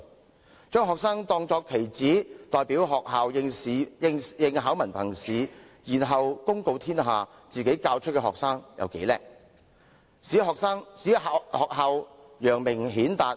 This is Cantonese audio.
學校將學生看作棋子，代表學校應考文憑試，然後公告天下，本校學生有多出色，使學校得以揚名顯達。